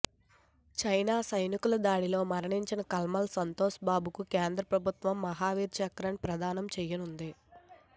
China సైనికుల దాడిలో మరణించిన కల్నల్ సంతోష్ బాబుకు కేంద్ర ప్రభుత్వం మహావీర్ చక్రను ప్రదానం చేయనుంది